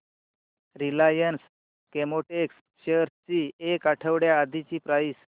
Reliance Chemotex shares ची एक आठवड्या आधीची प्राइस